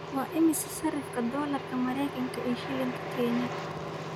Waa imisa sarifka dollarka Maraykanka iyo shilinka Kenya?